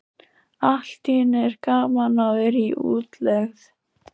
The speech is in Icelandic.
Allt í einu er gaman að vera í útlegð.